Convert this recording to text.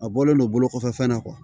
A bɔlen don bolo kɔfɛfɛn na